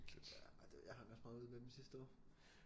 Ja ej det jeg hang også meget ud med dem sidste år